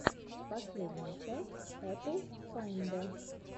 последняя часть эпл файндэ